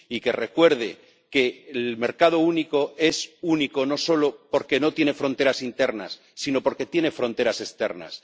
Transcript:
y que recuerde que el mercado único es único, no solo porque no tiene fronteras internas, sino porque tiene fronteras externas.